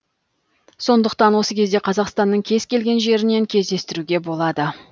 сондықтан осы кезде қазақстанның кез келген жерінен кездестіруге болады